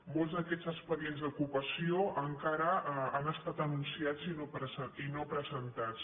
molts d’aquests expedients d’ocupació encara han estat anunciats i no presentats